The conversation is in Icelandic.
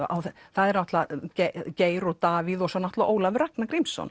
það eru náttúrulega Geir og Davíð og svo náttúrulega Ólafur Ragnar Grímsson